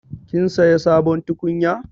Kin saya sabon tukunya?